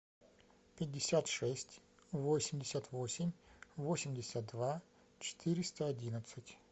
пятьдесят шесть восемьдесят восемь восемьдесят два четыреста одиннадцать